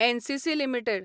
NCC limited